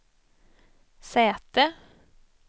säte